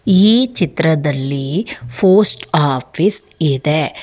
ಈ ಚಿತ್ರದಲ್ಲಿ post office ಇದೆ.